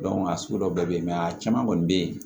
a sugu dɔw bɛ yen a caman kɔni bɛ yen